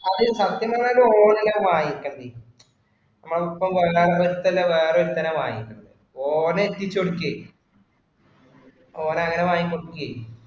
അത് സത്യം പറഞ്ഞാല് ഓന് അല്ല വാങ്ങിക്കണത്, വേറൊരുത്തനാ വാങ്ങിക്കണത്. ഓന് എത്തിച്ചു കൊടുക്കുകയാ. ഓന് അങ്ങിനെ വാങ്ങി കൊടുക്കുകയെ.